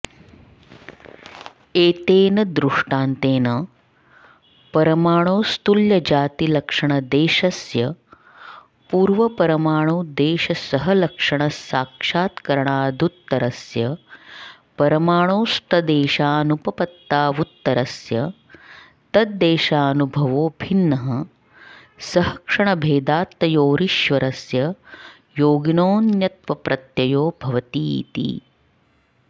एतेन दृष्टान्तेन परमाणोस्तुल्यजातिलक्षणदेशस्य पूर्वपरमाणुदेशसहलक्षणसाक्षात्करणादुत्तरस्य परमाणोस्तद्देशानुपपत्तावुत्तरस्य तद्देशानुभवो भिन्नः सहक्षणभेदात्तयोरीश्वरस्य योगिनोऽन्यत्वप्रत्ययो भवतीति